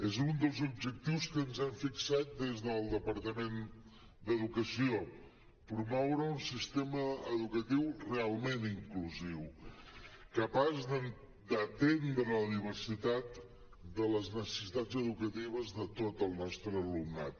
és un dels objectius que ens hem fixat des del departament d’educació promoure un sistema educatiu realment inclusiu capaç d’atendre la diversitat de les necessitats educatives de tot el nostre alumnat